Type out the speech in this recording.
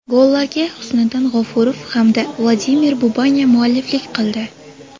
Gollarga Husnidddin G‘ofurov hamda Vladimir Bubanya mualliflik qildi.